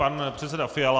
Pan předseda Fiala.